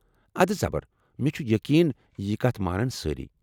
ادٕ زبر ، مےٚ چھُ یقین یہ کتھ مانن سٲری۔